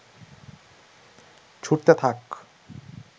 ছুড়তে থাক